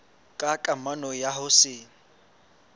ka kamano ya ho se